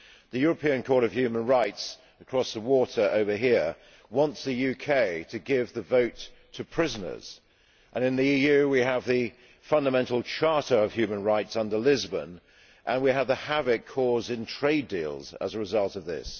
The European Court of Human Rights, across the water over here, wants the UK to give the vote to prisoners, and in the EU we have the Fundamental Charter of Human Rights, under Lisbon, and the havoc caused in trade deals as a result of it.